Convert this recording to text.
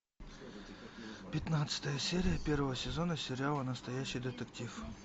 пятнадцатая серия первого сезона сериала настоящий детектив